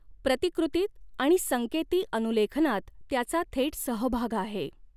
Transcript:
प्रतिकृतीत आणि संकेती अनुलेखनात त्याचा थेट सहभाग आहे.